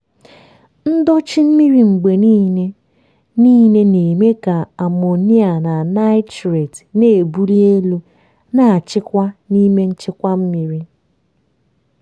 ndochi mmiri mgbe niile niile na-eme ka amonia na nitrate na-ebuli elu na-achịkwa n'ime nchekwa mmiri.